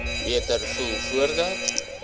beter voel voordat